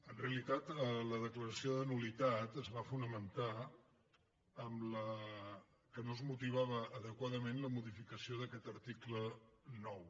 en realitat la declaració de nul·litat es va fonamentar en el fet que no es motivava adequadament la modifica·ció d’aquest article nou